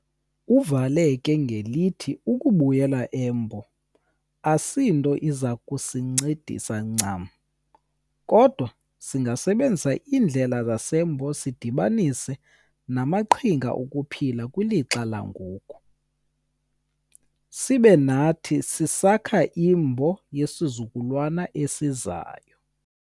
Uvale ke ngelithi ukubuyela eMbo asinto izakusincedisa ncam kodwa singazisebenzisa iindlela zaseMbo sidibanise namaqhinga okuphila kwilixa langoku, sibe nathi sisakha iMbo yezizukulwana ezizayo.